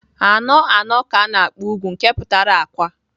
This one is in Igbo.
Anọ anọ ka ana-akpọ ugwu nke pụtara akwa.